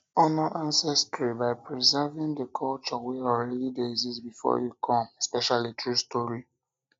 honor ancestry by preserving the culture wey already de exist before you come especially through story